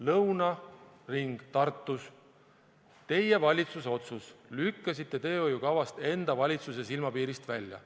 Lõuna ring Tartus, teie valitsuse otsus, lükkasite teehoiukavast enda valitsuse silmapiirist välja.